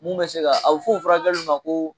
Mun bɛ se ka a bɛ f'o furakɛliw ma koo